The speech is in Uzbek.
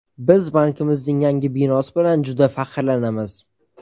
Biz bankimizning yangi binosi bilan juda faxrlanamiz.